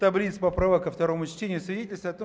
таблица поправок ко второму чтению свидетельствует о том